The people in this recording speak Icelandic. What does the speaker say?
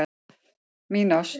Mín ást